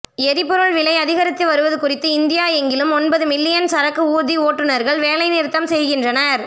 எரிபொருள் விலை அதிகரித்து வருவது குறித்து இந்தியா எங்கிலும் ஒன்பது மில்லியன் சரக்கு ஊர்தி ஓட்டுநர்கள் வேலைநிறுத்தம் செய்கின்றனர்